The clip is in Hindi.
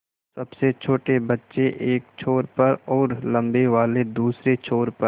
सबसे छोटे बच्चे एक छोर पर और लम्बे वाले दूसरे छोर पर